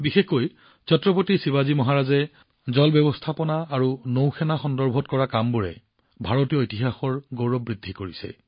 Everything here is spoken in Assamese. বিশেষকৈ জল ব্যৱস্থাপনা আৰু নৌসেনাৰ সন্দৰ্ভত ছত্ৰপতি শিৱাজী মহাৰাজে কৰা কামবোৰে এতিয়াও ভাৰতীয় ইতিহাসৰ গৌৰৱ বৃদ্ধি কৰে